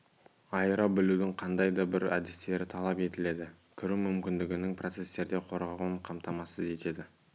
айыра білудің қандай да бір әдістері талап етіледі кіру мүмкіндігінің процестерде қорғауын қамтамсыз етеді